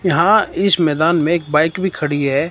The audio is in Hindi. यहां इस मैदान में एक बाइक भी खड़ी है।